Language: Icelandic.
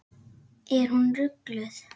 Er hún rugluð?